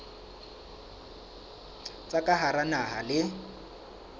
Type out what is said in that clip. tsa ka hara naha le